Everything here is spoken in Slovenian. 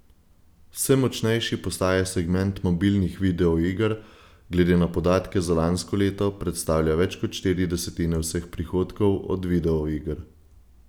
Vse močnejši postaja segment mobilnih videoiger, glede na podatke za lansko leto predstavlja več kot štiri desetine vseh prihodkov od videoiger.